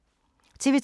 TV 2